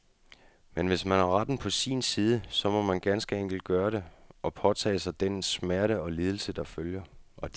Men hvis man har retten på sin side, så må man ganske enkelt gøre det, og påtage sig den smerte og de lidelser, der følger.